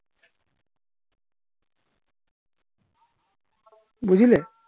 বুঝলে